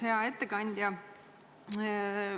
Hea ettekandja!